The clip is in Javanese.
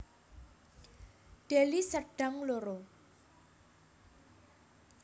Deli Serdang loro